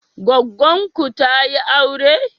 Goggon ku tayi aure?